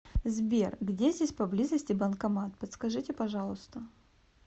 сбер где здесь поблизости банкомат подскажите пожалуйста